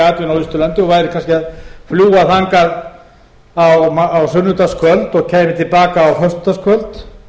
á austurlandi og væri kannski að fljúga þangað á sunnudagskvöldi og kæmi til baka á föstudagskvöldi